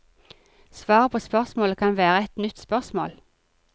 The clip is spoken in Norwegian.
Svaret på spørsmålet kan være et nytt spørsmål.